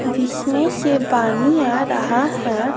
जिसमें से पानी आ रहा है --